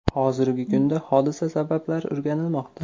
Hozirgi kunda hodisa sabablari o‘rganilmoqda.